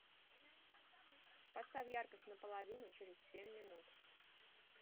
поставь яркость на половину через семь минут